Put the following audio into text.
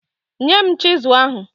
Nye m chizụl ahụ.